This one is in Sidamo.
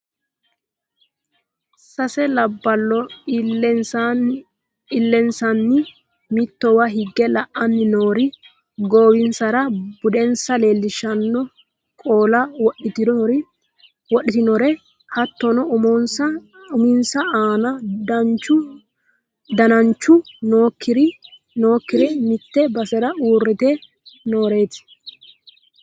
Sase labballo illensanni mittowa higge la'anni noore goowinsara budensa leellishshano qolo wodhitinore hattono uminsa aana dananchu nookkire mitte basera uurrite nooreeti